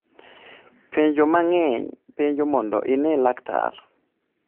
Penjo mang'eny' penjo mondo ine laktar